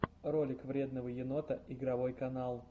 ролик вредного енота игровой канал